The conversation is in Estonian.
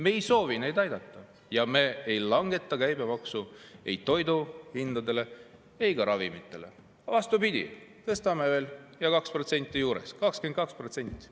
Me ei soovi neid aidata ja me ei langeta ei toiduainete ega ravimite käibemaksu, vastupidi, me tõstame seda 2% võrra 22%-ni.